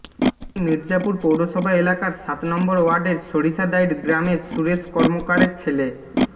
তিনি মির্জাপুর পৌরসভা এলাকার সাত নম্বর ওয়ার্ডের সরিষাদাইড় গ্রামের সুরেষ কর্মকারের ছেলে